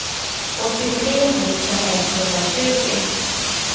åttiotre tusen etthundratjugo